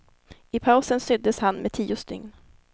I pausen syddes han med tio stygn.